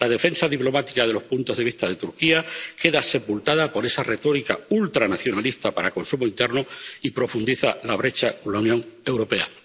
La defensa diplomática de los puntos de vista de Turquía queda sepultada por esa retórica ultranacionalista para consumo interno y profundiza la brecha con la Unión Europea.